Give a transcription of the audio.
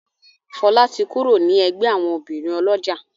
Fola tí kúrò ní ègbé àwọn obìrin olójà.